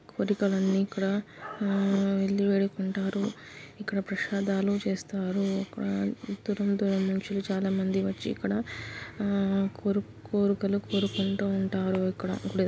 కోరికలన్నీ ఇక్కడ ఆ వీళ్లు వేడుకుంటారు ప్రసాదాలు చేస్తారు ఎక్కడా దూరం దూరం నుంచి చాలామంది వచ్చి ఇక్కడ కోరు కోరికలు కోరు కోరికలు కోరుకుంటూ ఉంటారు ఇక్కడ గుడి --